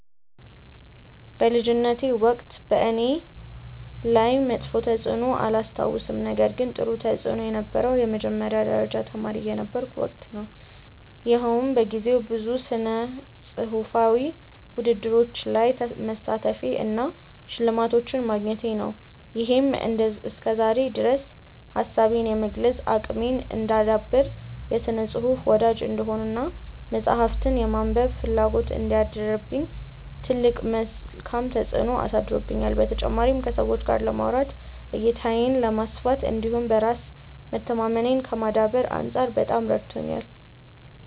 በልጅነቴ ወቅት በእኔ ላይ መጥፎ ተፅዕኖ አላስታውስም ነገር ግን ጥሩ ተፅእኖ የነበረው የመጀመሪያ ደረጃ ተማሪ የነበርኩበት ወቅት ነው። ይኸውም በጊዜው ብዙ ስነፅሁፋዊ ውድድሮች ላይ መሳተፌ እና ሽልማቶችን ማግኘቴ ነው። ይሄም እስከዛሬ ድረስ ሀሳቤን የመግለፅ አቅሜን እንዳዳብር፣ የስነ ፅሁፍ ወዳጅ እንድሆን እና መፅሀፍትን የማንበብ ፍላጎት እንዲያድርብኝ ትልቅ መልካም ተፅዕኖ አሳድሮብኛል። በተጨማሪም ከሰዎች ጋር ለማውራት፣ እይታዬን ከማስፋት እንዲሁም በራስ መተማመኔን ከማዳበር አንፃር በጣም ረድቶኛል።